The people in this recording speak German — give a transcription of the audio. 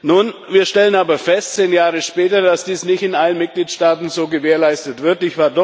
Nun stellen wir aber zehn Jahre später fest, dass dies nicht in allen Mitgliedstaaten so gewährleistet wird.